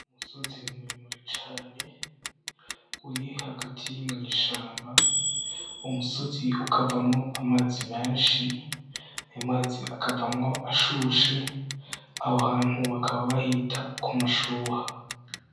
Umusozi muremure cane uri hagati mw'ishamba, umusozi ukavamwo amazi menshi, aya mazi akavamwo ashushe aho ahantu bakaba bahita kumashuha.